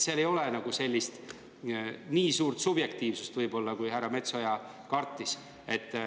Seal ei ole sellist suurt subjektiivsust, kui härra Metsoja kardab.